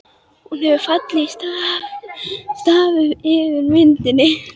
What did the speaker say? Hún hefur fallið í stafi yfir myndinni.